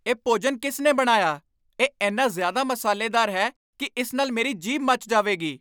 ਇਹ ਭੋਜਨ ਕਿਸ ਨੇ ਬਣਾਇਆ? ਇਹ ਇੰਨਾ ਜ਼ਿਆਦਾ ਮਸਾਲੇਦਾਰ ਹੈ ਕਿ ਇਸ ਨਾਲ ਮੇਰੀ ਜੀਭ ਮੱਚ ਜਾਵੇਗੀ।